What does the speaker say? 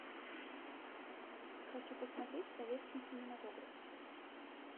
хочу посмотреть советский кинематограф